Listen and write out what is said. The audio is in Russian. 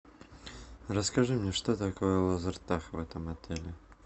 расскажи мне что такое лазертаг в этом отеле